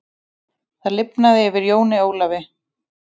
Það lifnaði yfir Jóni Ólafi.